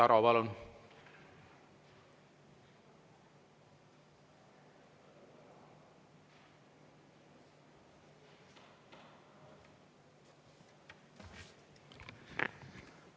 Igor Taro, palun!